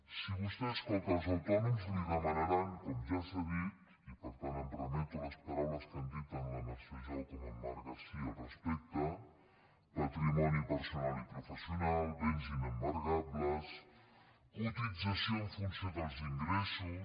si vostè escolta els autònoms li demanaran com ja s’ha dit i per tant em remeto a les paraules que han dit tant la mercè jou com en marc vidal al respecte patrimoni personal i professional béns inembargables cotització en funció dels ingressos